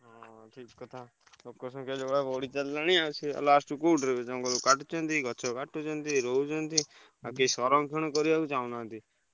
ହଁ ଠକ୍ କଥା ଲୋକସଂଖ୍ୟା ଯୋଉ ଭଳିଆ ବଢି ଚାଲିଲାଣି ଆଉ ସେୟା last କୁ କୋଉଠି ରହିବ ଜଙ୍ଗଲକୁ କାଟୁଛନ୍ତି, ଗଛ କାଟୁଛନ୍ତି ରହୁଛନ୍ତି। ଆଉ କିଏ ସରଂକ୍ଷଣ କରିବାକୁ ଚାହୁଁ ନାହାନ୍ତି।